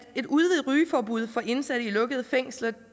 et udvidet rygeforbud for indsatte i lukkede fængsler